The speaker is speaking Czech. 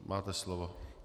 Máte slovo.